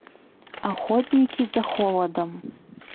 охотники за холодом